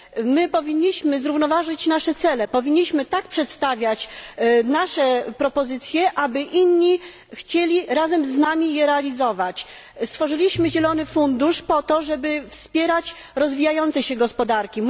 My powinniśmy zrównoważyć nasze cele i tak przedstawiać nasze propozycje, aby inni chcieli razem z nami je realizować. Stworzyliśmy zielony fundusz po to, żeby wspierać rozwijające się gospodarki.